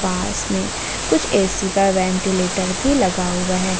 पास में कुछ ए_सी का वेंटीलेटर भी लगा हुआ है।